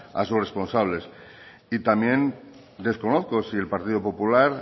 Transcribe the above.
a sus responsables y también desconozco si el partido popular